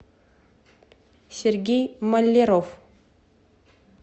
сергей маляров